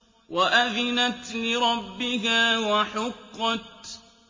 وَأَذِنَتْ لِرَبِّهَا وَحُقَّتْ